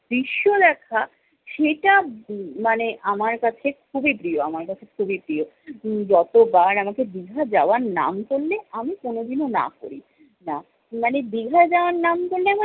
দৃশ্য দেখা- সেটা মানে আমার কাছে খুবই প্রিয় আমার কাছে খুবই প্রিয়। উম যতবার আমাকে দীঘা যাওয়ার নাম করলে আমি কোনোদিনও না করিনা। না মানে দীঘা যাওয়ার নাম করলে